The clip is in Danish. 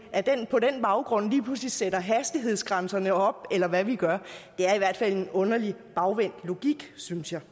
på den baggrund lige pludselig sætter hastighedsgrænserne op eller hvad vi gør det er i hvert fald en underlig bagvendt logik synes jeg